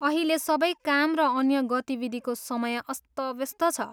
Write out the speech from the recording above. अहिले सबै काम र अन्य गतिविधिको समय अस्तव्यस्त छ।